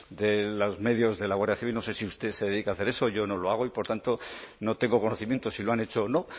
de los medios de la guardia civil no sé si usted se dedica a hacer eso yo no lo hago y por tanto no tengo conocimiento si lo han hecho o no